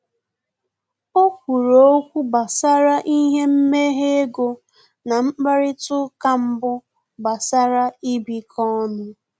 O kwuru okwu gbasara ihe mmehe ego na mkparịta uka mbụ gbasara ịbikọ ọnụ